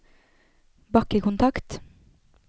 bakkekontakt